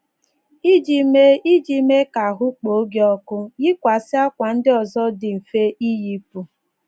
Iji mee ka Iji mee ka ahụ́ kpoo gị ọkụ, yikwasị ákwà ndị ọzọ dị mfe ịyịpụ.